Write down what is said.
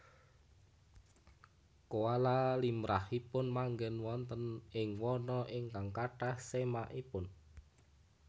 Koala limrahipun manggén wonten ing wana ingkang kathah semakipun